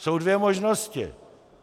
Jsou dvě možnosti.